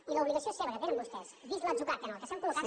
i l’obligació seva que tenen vostès vist l’atzucac en què s’han col·locat